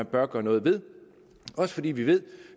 bør gøre noget ved også fordi vi ved